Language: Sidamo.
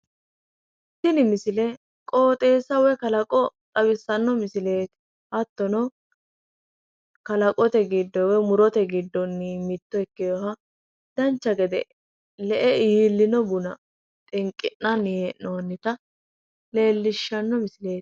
Tini misile qooxeessa woyi kalaqo xawissanno misileeti hattono kalaqote giddo woyi murote giddonni mitto ikkewoha dancha gede le'e iillewo buna xinqi'nanni hee'noyita leellishanno misileeti